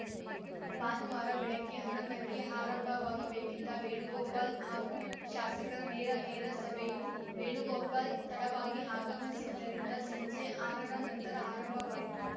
ಭಾನುವಾರ ಬೆಳಗ್ಗೆ ಹನ್ನೊಂದ ಕ್ಕೆ ಆರಂಭವಾಗಬೇಕಿದ್ದ ವೇಣುಗೋಪಾಲ್‌ ಹಾಗೂ ಶಾಸಕರ ನೇರಾನೇರ ಸಭೆಯು ವೇಣುಗೋಪಾಲ್‌ ತಡವಾಗಿ ಆಗಮಿಸಿದ್ದರಿಂದ ಸಂಜೆ ಆರ ರ ನಂತರ ಆರಂಭವಾಯಿತು